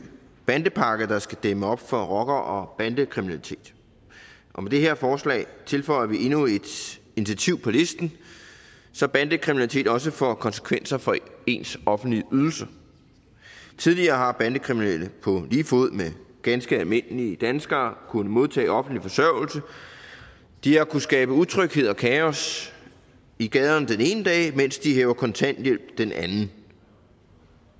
bandepakke der skal dæmme op for rocker og bandekriminalitet og med det her forslag tilføjer vi endnu et initiativ på listen så bandekriminalitet også får konsekvenser for ens offentlige ydelse tidligere har bandekriminelle på lige fod med ganske almindelige danskere kunnet modtage offentlig forsørgelse de har kunnet skabe utryghed og kaos i gaderne den ene dag mens de hæver kontanthjælp den anden